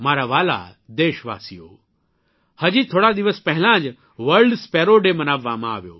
મારા વ્હાલા દેશવાસીઓ હજી થોડા દિવસ પહેલાં જ વર્લ્ડ સ્પેરો ડે મનાવવામાં આવ્યો